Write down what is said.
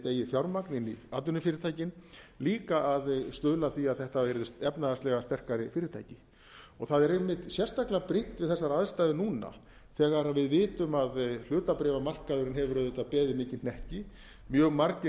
fjármagn inn í atvinnufyrirtækin líka að stuðla að því að þetta væri efnahagslega sterkari fyrirtæki það er einmitt sérstaklega brýnt við þessar aðstæður núna þegar við vitum að hlutabréfamarkaðurinn hefur beðið mikinn hnekki mjög margir